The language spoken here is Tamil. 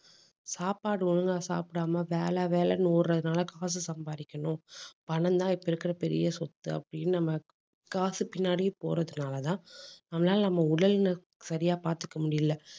சாப்பாடு ஒழுங்கா சாப்பிடாம வேலை வேலைன்னு ஓடுறதுனால காசு சம்பாதிக்கணும் பணம்தான் இப்ப இருக்கிற பெரிய சொத்து அப்படின்னு நம்ம காசு பின்னாடி போறதுனாலதான் நம்மளால நம்ம சரியா பார்த்துக்க முடியலை